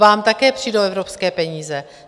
Vám také přijdou evropské peníze.